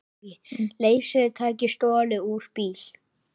Leiðsögutæki stolið úr bíl